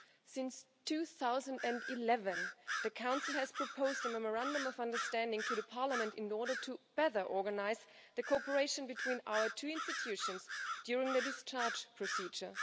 Since 2011, the Council has proposed a memorandum of understanding to Parliament in order to better organise the cooperation between our two institutions during the discharge procedure.